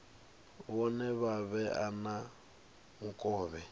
vhone vha vhe na mukovhe